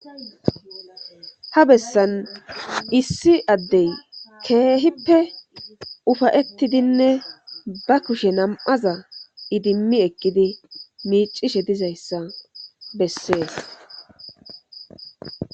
ha bessan issi addey keehippe ufayettidinne ba kushe nam7aza idimmi ekkidi miicishe dizayssa bessees